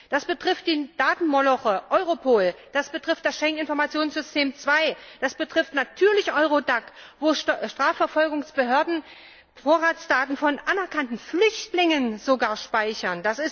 Das betrifft den Datenmoloch Europol, das betrifft das Schengener Informationssystem II, das betrifft natürlich Eurodac, wo Strafverfolgungsbehörden Vorratsdaten sogar von anerkannten Flüchtlingen speichern.